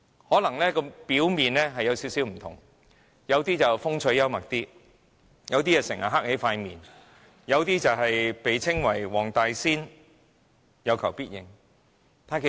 可能他們表面略有不同，有人較風趣幽默，有人整天板着臉，有人被稱為"黃大仙"，有求必應。